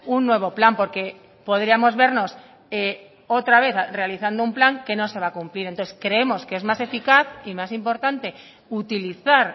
un nuevo plan porque podríamos vernos otra vez realizando un plan que no se va a cumplir entonces creemos que es más eficaz y más importante utilizar